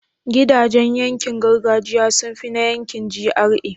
gidajan yankin gargajiya sunfi na yankin GRA